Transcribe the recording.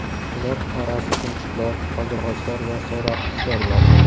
Ular orasi chumchuqlar, qaldirg‘ochlar va sayroqi qushlar bor.